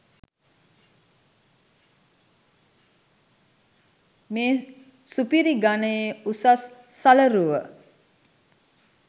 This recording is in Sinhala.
මේ සුපිරි ගනයේ උසස් සලරුව